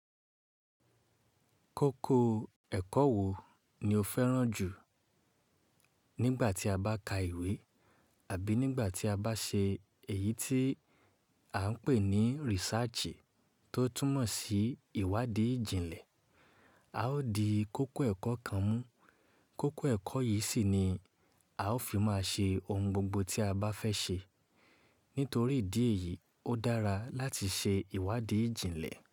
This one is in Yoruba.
Kókó ẹ̀kọ́ wo ni o fẹ́ràn jù nígbà tí a bá ka ìwé àbí nígbà tí a bá ṣe èyí tí a ń pè ní research tó túmọ̀ sí ìwádìí ìjìnlẹ̀. A ó di kókó ẹ̀kọ́ kan mú. Kókó ẹ̀kọ́ yìí sì ni a ó fi máa ṣe ohun gbogbo tí a bá fẹ́ ṣe. Nítorí ìdí èyí, ó dára láti ṣe ìwádìí ìjìnlẹ̀